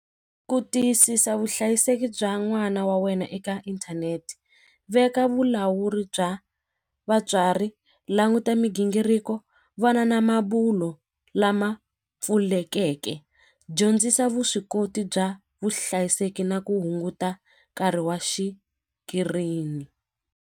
Ku tiyisisa vuhlayiseki bya n'wana wa wena eka inthanete veka vulawuri bya vatswari languta migingiriko vana na mabulo lama pfulekeke dyondzisa vuswikoti bya vuhlayiseki na ku hunguta nkarhi wa xikirini.